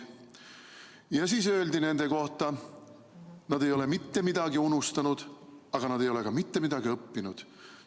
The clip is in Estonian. Ja siis öeldi nende kohta: nad ei ole mitte midagi unustanud, aga nad ei ole ka mitte midagi õppinud.